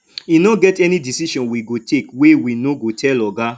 e no get any decision we go take wey we no go tell oga